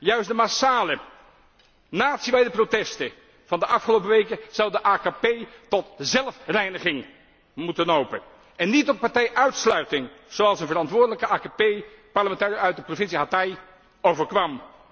toe! Juist de massale, natiewijde protesten van de afgelopen weken zouden de AKP tot zelfreiniging moeten nopen. En niet tot partijuitsluiting, zoals de verantwoordelijke AKP parlementariër uit de provincie Hatay overkwam.